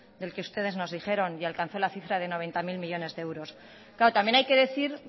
que el que nos dijeron y alcanzó la cifra de noventa mil millónes de euros claro también hay que decir